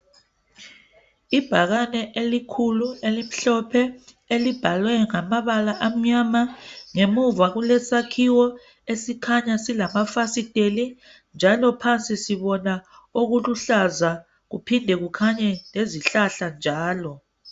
Ibhakane elikhulu elimhlophe, elibhalwe ngamabala amnyama . Ngemuva kulesakhiwo esikhanya silamafasiteli. Njalo phansi sibona okuluhlaza kuphinde kukhanye lezihlahla njalo .